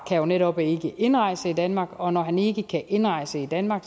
netop ikke indrejse i danmark og når han ikke kan indrejse i danmark